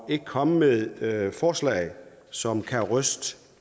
ikke komme med forslag som kan ryste